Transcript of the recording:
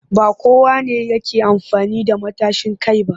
Ba kowa ne yake amfani da matashin kai ba